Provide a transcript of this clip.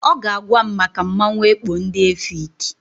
Ọ ga-agwa m maka mmanwụ ekpo ndị Efik.